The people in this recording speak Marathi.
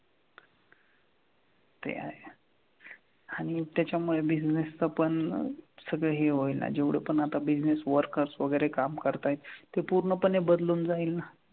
ते आहे. आणि त्याच्या मुळे business चा पण ना सगळं हे होईल ना जेवढं पण आता business worker वगैरे काम करतायत ते पूर्णपणे बदलून जाईल ना.